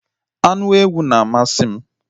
Anụ ewu na amasị m